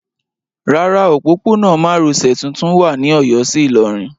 Rárá, òpópónà márosẹ̀ tuntun wà ní Ọ̀yọ́ sí Ìlọrin.